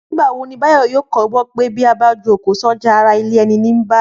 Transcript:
Nígbà wo ni Báyọ̀ yóò kọ́gbọ́n pé bí a bá jùkò sọ́jà, ará ilé ẹni ní ń bà?